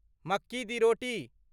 मक्की दि रोटी